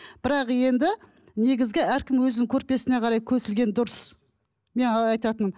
бірақ енді негізгі әркім өзінің көрпесіне қарай көсілген дұрыс айтатыным